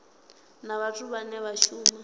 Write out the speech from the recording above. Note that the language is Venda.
na vhathu vhane vha shuma